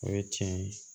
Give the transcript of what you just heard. O ye tiɲɛ ye